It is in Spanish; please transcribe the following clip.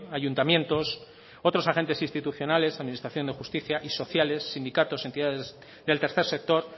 ayuntamientos otros agentes institucionales administración de justicia y sociales sindicatos y entidades del tercer sector